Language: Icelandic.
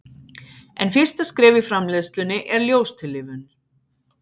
en fyrsta skref í framleiðslunni er ljóstillífun